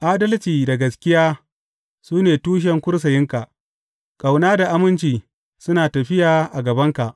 Adalci da gaskiya su ne tushen kursiyinka; ƙauna da aminci suna tafiya a gabanka.